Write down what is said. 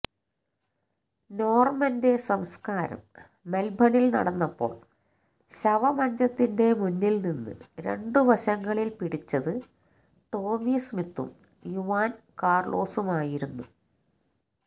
നോർമന്റെ സംസ്കാരം മെൽബണിൽ നടന്നപ്പോൾ ശവമഞ്ചത്തിന്റെ മുന്നിൽനിന്ന് രണ്ടു വശങ്ങളിൽ പിടിച്ചത് ടോമി സ്മിത്തും യുവാൻ കാർലോസുമായിരുന്നു